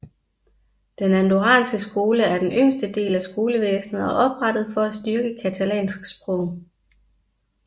Den andorranske skole er den yngste del af skolevæsnet og er oprettet for at styrke catalansk sprog